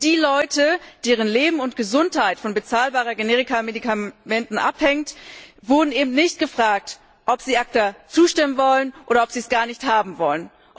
Die Menschen, deren Leben und Gesundheit von bezahlbaren Generikamedikamenten abhängt, wurden nicht gefragt, ob sie ACTA zustimmen wollen oder ob sie es gar nicht haben wollen.